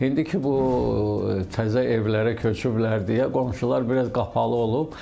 İndiki bu təzə evlərə köçüblər deyə qonşular biraz qapalı olub.